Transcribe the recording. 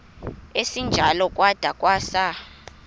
esinjalo kwada kwasa